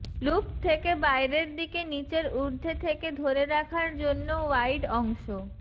loop থেকে বাইরের দিকে নীচের ঊর্ধ্বে থেকে ধরে রাখার জন্য ওয়াইড অংশ